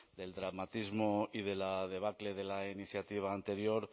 del dramatismo y de la debacle de la iniciativa anterior